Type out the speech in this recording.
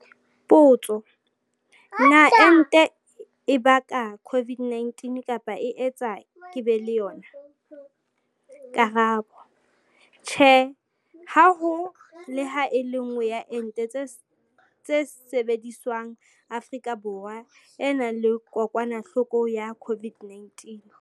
Potso- Na ente e baka COVID-19 kapa e etsa ke be le yona? Karabo- Tjhe. Ha ho le ha e le nngwe ya ente tse sebediswang Afrika Borwa e nang le kokwanahloko ya COVID-19.